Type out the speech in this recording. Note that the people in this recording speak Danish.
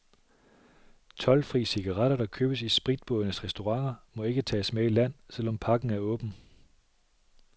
Toldfri cigaretter, der købes i spritbådenes restauranter, må ikke tages med i land, selv om pakken er åben.